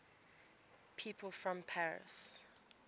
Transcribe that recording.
people from paris